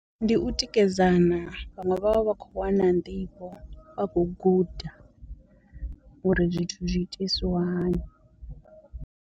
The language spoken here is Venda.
Ndi u tikedzana, vhaṅwe vha vha vha kho wana nḓivho, vha khou guda uri zwithu zwi itisiwa hani.